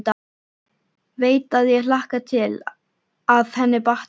Veit að ég hlakka til að henni batni.